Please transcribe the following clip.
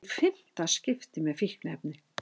Í fimmta skipti með fíkniefni